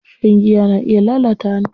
Shan giya na iya lalata hanta.